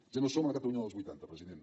ja no som a la catalunya dels vuitanta president